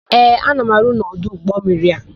Ee, ana m arụ n'ọdụ ụgbọmmiri a.